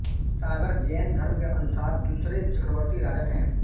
सागर जैन धर्म के अनुसार दूसरे चक्रवर्ति राजा थे